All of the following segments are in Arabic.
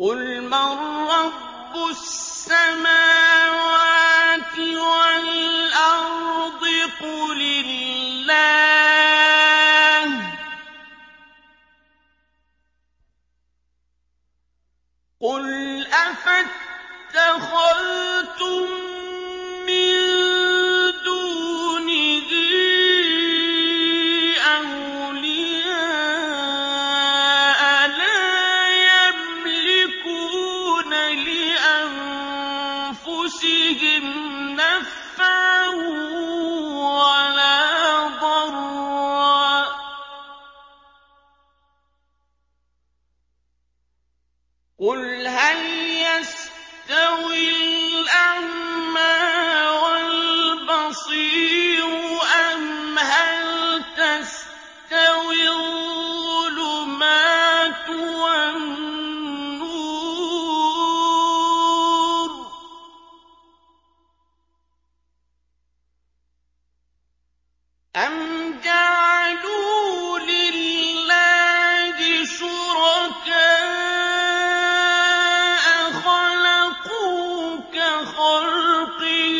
قُلْ مَن رَّبُّ السَّمَاوَاتِ وَالْأَرْضِ قُلِ اللَّهُ ۚ قُلْ أَفَاتَّخَذْتُم مِّن دُونِهِ أَوْلِيَاءَ لَا يَمْلِكُونَ لِأَنفُسِهِمْ نَفْعًا وَلَا ضَرًّا ۚ قُلْ هَلْ يَسْتَوِي الْأَعْمَىٰ وَالْبَصِيرُ أَمْ هَلْ تَسْتَوِي الظُّلُمَاتُ وَالنُّورُ ۗ أَمْ جَعَلُوا لِلَّهِ شُرَكَاءَ خَلَقُوا كَخَلْقِهِ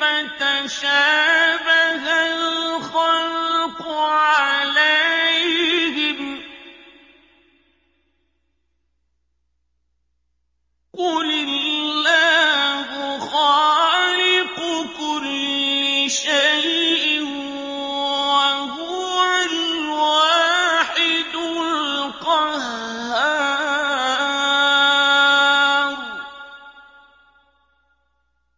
فَتَشَابَهَ الْخَلْقُ عَلَيْهِمْ ۚ قُلِ اللَّهُ خَالِقُ كُلِّ شَيْءٍ وَهُوَ الْوَاحِدُ الْقَهَّارُ